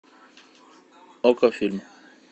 окко фильм